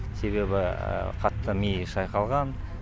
себебі қатты миы шайқалған